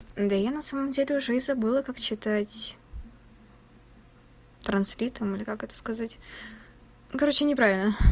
да я на самом деле уже и забыла как читать транслитом или как это сказать короче не правильно